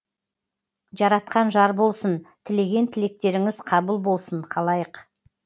жаратқан жар болсын тілеген тілектеріңіз қабыл болсын қалайық